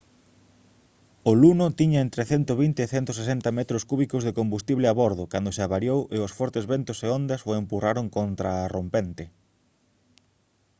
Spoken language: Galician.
o luno tiña entre 120 e 160 metros cúbicos de combustible a bordo cando se avariou e os fortes ventos e ondas o empurraron contra a rompente